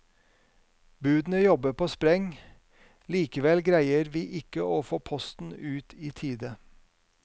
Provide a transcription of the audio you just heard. Budene jobber på spreng, likevel greier vi ikke å få posten ut i tide.